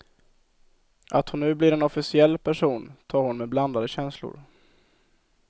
Att hon nu blir en officiell person tar hon med blandade känslor.